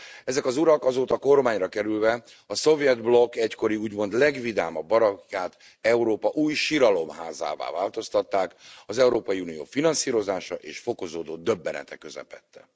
Ezek az urak azóta kormányra kerülve a szovjet blokk egykori úgymond legvidámabb barakkját Európa új siralomházává változtatták az Európai Unió finanszírozása és fokozódó döbbenete közepette.